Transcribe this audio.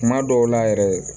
Kuma dɔw la yɛrɛ